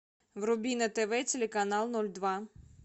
вруби на тв телеканал ноль два